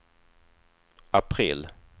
april